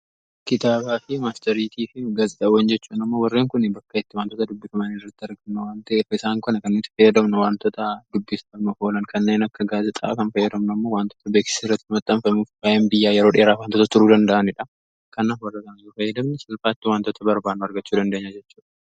Kitaabaa, maastariitii fi gaazixawwan jechuun amma warreen kunii bakka itti wantoota dubbifamanii irratti arganna wanta'ef isaan kana kan itti fayyadamna wantoota dubbisaama oolan kanneen akka gaazixaa kan fayyadamnu ammoo wantoota beekisa irratti uummati hanfamuuf baay'een biyyaa yeroo dheeraa wantoota turuu danda'aniidha. Kanaaf warra fayyadamanii salphaatti wantooti barbaadan argachu dandeenya jechuudha.